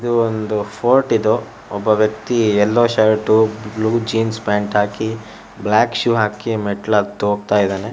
ದು ಒಂದು ಫೋರ್ಟ್ ಇದು ಒಬ್ಬ ವೆಕ್ತಿ yellow shirt blue jeans pant ಹಾಕಿ ಬ್ಲಾಕ್ ಶೂ ಹಾಕಿ ಮೆಟ್ಲತ್ ಓಗ್ತಾಯಿದಾಣೆ.